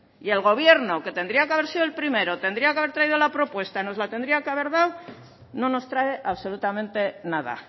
y el gobierno que tendría que haber sido el primero tendría que haber traído la propuesta nos la tendría que haber dado no nos trae absolutamente nada